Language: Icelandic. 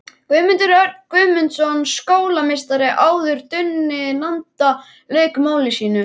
Guðmundur Örn Guðmundsson skólameistari, áður Dundi landa, lauk máli sínu.